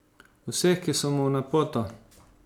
Vseh, ki so mu v napoto.